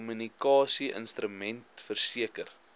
kommunikasie instrument verseker